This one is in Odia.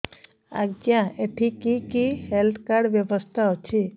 ଆଜ୍ଞା ଏଠି କି କି ହେଲ୍ଥ କାର୍ଡ ବ୍ୟବସ୍ଥା ଅଛି